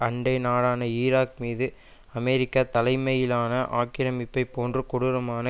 அண்டை நாடான ஈராக் மீது அமெரிக்கா தலைமையிலான ஆக்கிரமிப்பை போன்று கொடூரமான